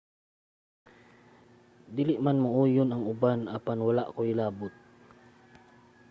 dili man mouyon ang uban apan wala koy labot